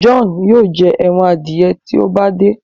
John yóò jé èràn adiẹ tí o bá de.